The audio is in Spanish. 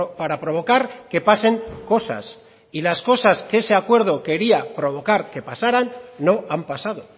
para provocar que pasen cosas y las cosas que ese acuerdo quería provocar que pasaran no han pasado